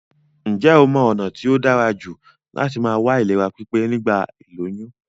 Njé o mo ònà t tóí dárajù láti ma wà ní ìlera pípé nígbà ìlóyún?